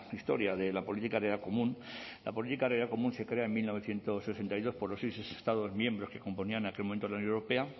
historia de la política agraria común la política agraria común se crea en mil novecientos sesenta y dos por los seis estados miembros que componían en aquel momento la unión europea